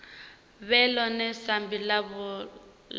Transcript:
vhe ḽone sambi ḽavho ḽa